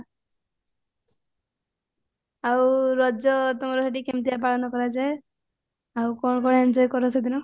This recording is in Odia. ଆଉ ରାଜ ତୁମର ସେଠି କେମିତିଆ ପାଳନ କରାଯାଏ ଆଉ କଣ କଣ enjoy କର ସେଦିନ